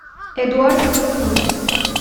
эдуарде горбунове